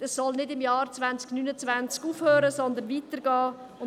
Es soll im Jahr 2029 nicht enden, sondern weitergehen.